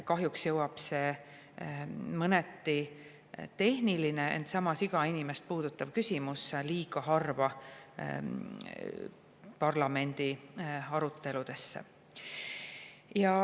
Kahjuks jõuab see mõneti tehniline, samas igat inimest puudutav küsimus liiga harva parlamendi aruteludesse.